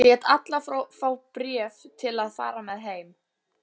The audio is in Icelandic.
Lét alla fá bréf til að fara með heim.